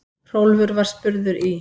Hrólfur var spurður í